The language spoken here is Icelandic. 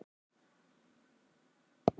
Ekki sér á ætið hér,